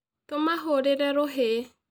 Tũmahorire rũhĩ